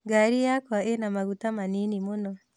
Ngari yakwa ĩna maguta manini mũno